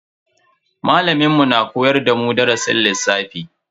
Malamin mu na koyar da mu darasin lissafi.